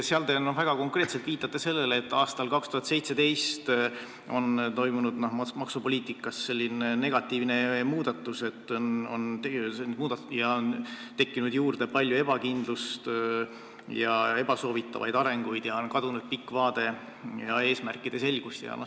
Seal te konkreetselt viitate sellele, et aastal 2017 toimus maksupoliitikas negatiivne muudatus, tekkis juurde palju ebakindlust ja ebasoovitavaid arenguid ning kadus pikk vaade ja eesmärkide selgus.